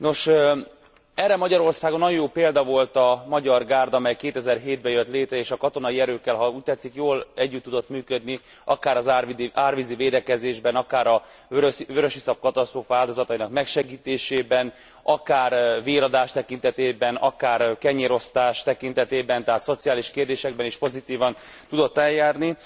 Nos, erre Magyarországon nagyon jó példa volt a Magyar Gárda, mely 2007 be jött létre és a katonai erőkkel ha úgy tetszik jól együtt tudott működni, akár az árvízi védekezésben, akár a vörösiszap katasztrófa áldozatainak megsegítésében, akár véradás tekintetében, akár kenyérosztás tekintetében, tehát szociális kérdésekben is pozitívan tudott eljárni.